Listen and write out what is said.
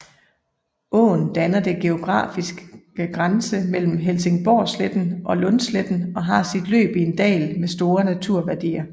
Åen danner den geografiske grænse mellem Helsingborgsletten og Lundsletten og har sit løb i en dal med store naturværdier